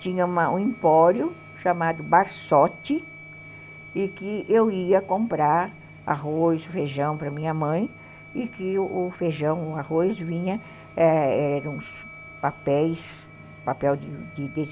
tinha um empório chamado Barsotti, e que eu ia comprar arroz, feijão para minha mãe, e que o feijão, o arroz vinha, eram uns papéis, desse papel desse